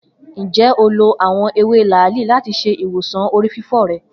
Njẹ o lo awọn ewe laali lati ṣe iwosan orififo rẹ?